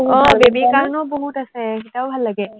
আহ baby ৰ কাৰনেও বহুত আছে, সেইকিটাও ভাল লাগে।